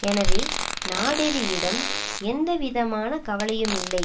எனவே நாடெரியிடம் எந்தவிதமான கவலையுமில்லை